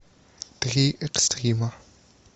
три экстрима